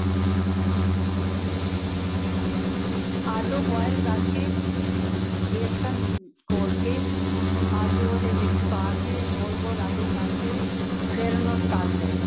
ਆਲੂ boil ਕਰਕੇ, ਵੇਸਨ ਘੋਲ ਕੇ ਆਲੂ ਉਧੇ ਵਿਚ ਪਾਕੇ, ਗੋਲ ਗੋਲ ਆਲੂ ਕਰਕੇ ਫੇਰ ਓਨੁ ਤੱਲ ਲੈ,